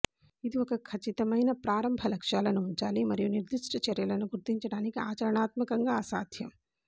ఇది ఒక ఖచ్చితమైన ప్రారంభ లక్ష్యాలను ఉంచాలి మరియు నిర్దిష్ట చర్యలను గుర్తించడానికి ఆచరణాత్మకంగా అసాధ్యం